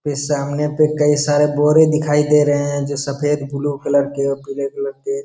ये सामने पे कई सारे बोरे दिखाई दे रहे हैं जो सफेद ब्लू कलर के और पीले कलर के --